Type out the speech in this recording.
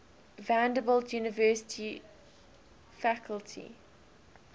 vanderbilt university faculty